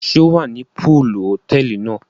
Ṣe o wá ní poolu hotẹẹli náà?